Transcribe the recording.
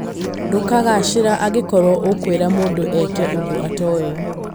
Ndũkũgacira angĩkorwo ũkwĩra mũndũ eke ũndũ atoĩ"